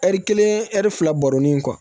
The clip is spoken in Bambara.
Ɛri kelen ɛri fila baronin in kɔ